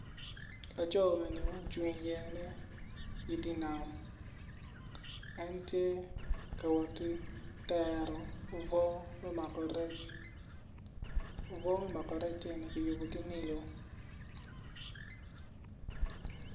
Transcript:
Laconi ocung iyeyane idi nam en tye k woti tero obwo me mako rec obwo me mako rec eni kiyubo ki nilo.